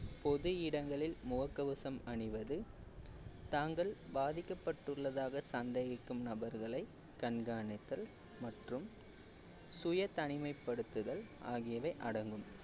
பொது இடங்களில் முகக்கவசம் அணிவது தாங்கள் பாதிக்கப்பட்டுள்ளதாக சந்தேகிக்கும் நபர்களை கண்காணித்தல் மற்றும் சுய தனிமைப்படுத்துதல் ஆகியவை அடங்கும்